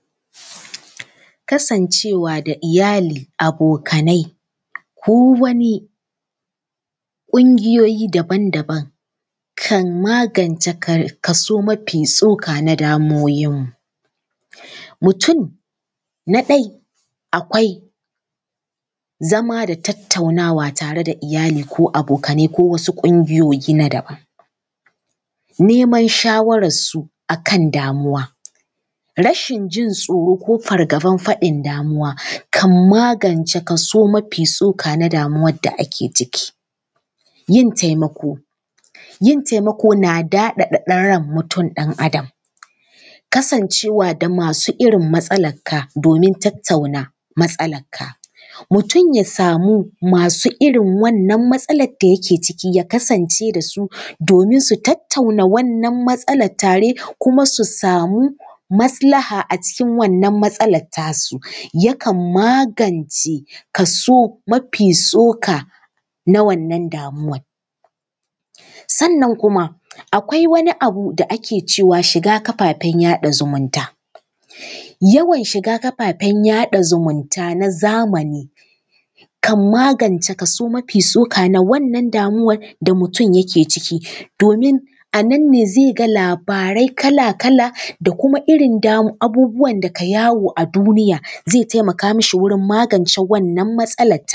Kasancewa da iyali, abokanai ko wani ƙungiyoyi daban-daban, kan magance kaso mafi tsoka na damuwoyinmu. Mutum na ɗaya akwai zama da tattaunawa tare da iyali ko abokanai ko wasu ƙungiyoyi na daban. Neman shawararsu ko a kan damuwa, rashin jin tsoro ko fargabar faɗin damuwa kan magance kaso mafi tsoka na damuwar da ake ciki. Yin taimako, yin taimako na daɗaɗa ran mutum ɗan Adam, kasancewa da masu irin matsalarka domin tattauna matsalarka. Mutum ya samu mutanen masu irin wannan matsalar da yake ciki, ya kasance da su domin su tattauna wannan matsalar tare kuma su samu maslaha a cikin wannan matsalar tasu yakan magance kaso mafi tsoka na wannan damuwar. Sannan kuma akwai wani abu da ake cewa ‘shiga kafafen yaɗa zumunta’. Yawan shiga kafafen yaɗa zumunta na zamani, kan magance kaso mafi tsoka na wannan damuwar da mutum yake ciki domin a nan ne zai ga labarai kala-kala da kuma irin abubuwan da ke yawo a duniya zai taimaka mishi wajen magance wannan matsalar.